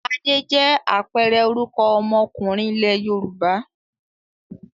Adé jẹ́ àpẹẹrẹ orúkọ ọmọkùnrin ilẹ̀ Yorùbá.